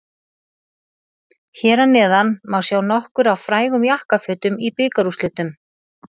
Hér að neðan má sjá nokkur af frægum jakkafötum í bikarúrslitum.